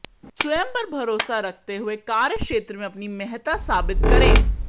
स्वयं पर भरोसा रखते हुए कार्यक्षेत्र में अपनी महत्ता साबित करें